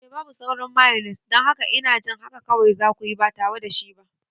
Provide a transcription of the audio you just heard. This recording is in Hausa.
Eh, babu sauran mayones, don haka ina jin haka kawai za ku yi ba tare da shi ba.